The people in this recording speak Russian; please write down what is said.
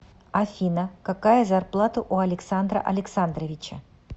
афина какая зарплата у александра александровича